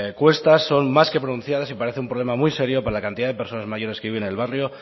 cuestas son más que pronunciadas y parece un problema muy serio para la cantidad de personas mayores que viven en el barrio